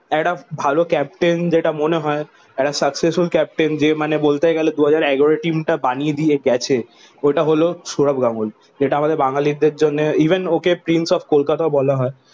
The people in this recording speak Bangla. একটা ভালো ক্যাপ্টেন যেটা মনে হয় একটা successful captain যে মানে বলতে গেলে দু হাজার এগারো টিমটা বানিয়ে দিয়ে গেছে ওটা হলো সৌরভ গাঙ্গুলী। এটা আমাদের বাঙ্গালীদের জন্য ইভেন ওকে prince of কলকাতাও বলা হয়।